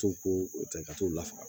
To ko ta ka t'u lafaga